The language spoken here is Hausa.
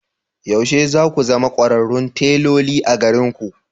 Yaushe za ku zama kwararrun teloli a garinku?